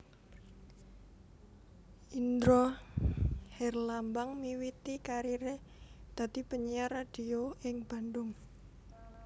Indra Herlambang miwiti kariré dadi penyiar radio ing Bandung